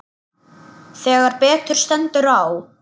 Þegar betur stendur á